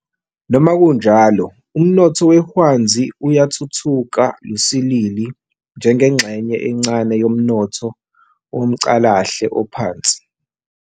Noma kunjalo umnotho wehwanzi uyathuthuka lusilili njengengxenye encane yomnotho womcalahle ophansi.